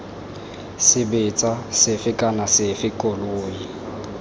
sebetsa sefe kana sefe koloi